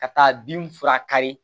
Ka taa bin fura kari